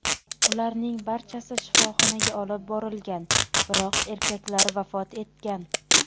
Ularning barchasi shifoxonaga olib borilgan, biroq erkaklar vafot etgan.